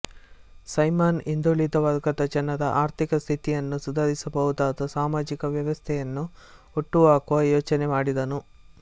Simon ಹಿಂದುಳಿದ ವರ್ಗದ ಜನರ ಆರ್ಥಿಕ ಸ್ಥಿತಿಯನ್ನು ಸುಧಾರಿಸಬಹುದಾದ ಸಾಮಜಿಕ ವ್ಯವಸ್ಥೆಯನ್ನು ಹುಟ್ಟು ಹಾಕುವ ಯೋಚನೆ ಮಾಡಿದನು